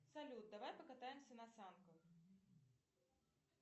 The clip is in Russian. салют давай покатаемся на санках